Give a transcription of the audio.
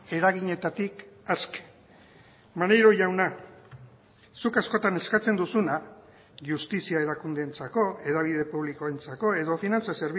eraginetatik aske maneiro jauna zuk askotan eskatzen duzuna justizia erakundeentzako hedabide publikoentzako edo finantza